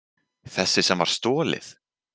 Þessi sem var stolið!